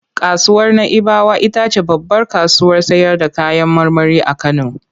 Kasuwar Na'ibawa ita ce babbar kasuwar sayarda kayan marmari a Kano.